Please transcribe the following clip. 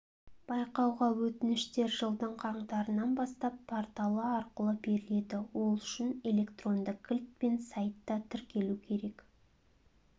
байқауға өтініштер жылдың қаңтарынан бастап порталы арқылы беріледі ол үшін электронды кілт пен сайтта тіркелу керек